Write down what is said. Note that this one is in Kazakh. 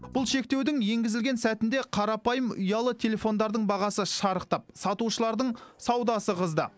бұл шектеудің енгізілген сәтінде қарапайым ұялы телефондардың бағасы шарықтап сатушылардың саудасы қызды